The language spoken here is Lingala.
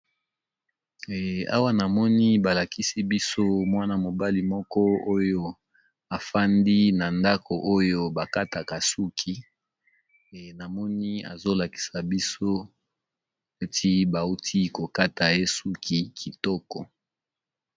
Awa na moni balakisi biso mwana mobali moko oyo afandi na ndako oyo bakataka suki e namoni azolakisa biso neti bauti kokata ye suki kitoko.